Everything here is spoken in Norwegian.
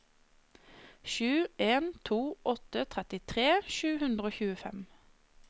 sju en to åtte trettitre sju hundre og tjuefem